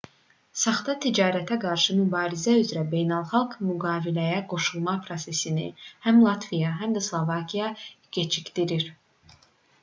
saxta ticarətə qarşı mübarizə üzrə beynəlxalq müqaviləyə qoşulma prosesini həm latviya həm də slovakiya gecikdirir